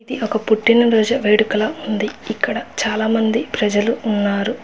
ఇది ఒక పుట్టినరోజు వేడుకలా ఉంది. ఇక్కడ చాలామంది ప్రజలు ఉన్నారు.